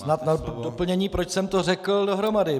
Snad na doplnění, proč jsem to řekl dohromady.